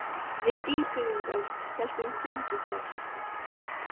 Við Dýrfirðingar héldum fund í gær.